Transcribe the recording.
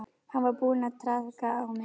Hann var búinn að traðka á mér.